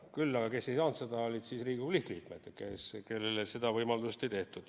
Küll aga, kes ei saanud seda, olid Riigikogu lihtliikmed, kellele seda võimalust ei antud.